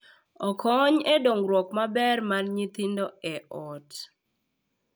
Okony e dongruok maber mar nyithindo e ot.